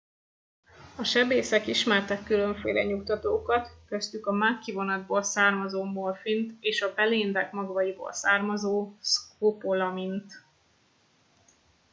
a sebészek ismertek különféle nyugtatókat köztük a mákkivonatból származó morfint és a beléndek magvaiból származó szkopolamint